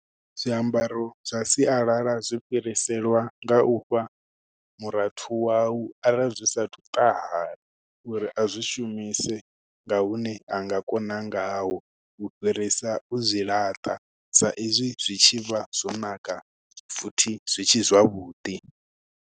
Zwiambaro zwa sialala zwi fhiriselwa nga u fha murathu wau, arali zwi sa athu u ṱahala uri a zwi shumise nga hune a nga kona ngaho. U fhirisa u zwi laṱa, sa izwi zwi tshivha zwo naka futhi zwitshe zwavhuḓi.